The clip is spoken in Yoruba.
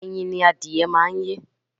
Ẹyin ni adìyẹ máa ń yé.